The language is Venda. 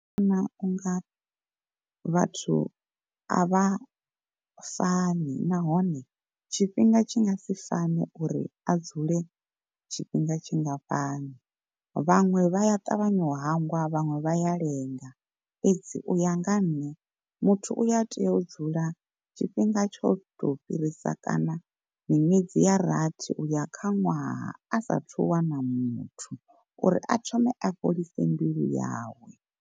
Ndi vhona unga vhathu a vha fani nahone tshifhinga tshi nga si fane uri a dzule tshifhinga tshingafhani. Vhaṅwe vha ya ṱavhanya u hangwa vhaṅwe vha ya lenga, fhedzi uya nga ha nṋe muthu uya tea u dzula tshifhinga tsho to fhirisa kana miṅwedzi ya rathi uya kha ṅwaha a sathu wana muthu uri a thome a fholise mbilu yawe.